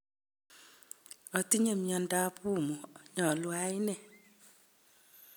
Atinye miandap pumu, nyalu ayan nee?